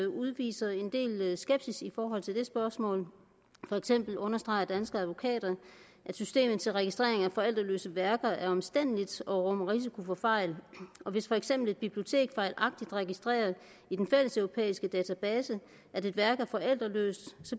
udviser en del skepsis i forhold til det spørgsmål for eksempel understreger danske advokater at systemet til registrering af forældreløse værker er omstændeligt og rummer risiko for fejl hvis for eksempel et bibliotek fejlagtigt registrerer i den fælleseuropæiske database at et værk er forældreløst